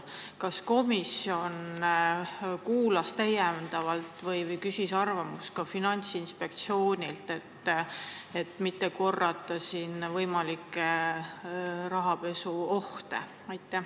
Kas komisjon küsis täiendavalt arvamust ka Finantsinspektsioonilt, et mitte korrata rahapesuga seotud võimalikke vigu?